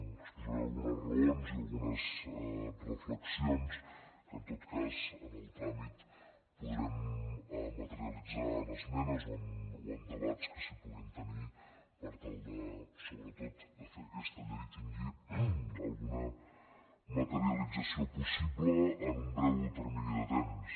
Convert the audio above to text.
exposaré algunes raons i algunes reflexions que en tot cas en el tràmit podrem materialitzar en esmenes o en debats que s’hi puguin tenir per tal de sobretot fer que aquesta llei tingui alguna materialització possible en un breu termini de temps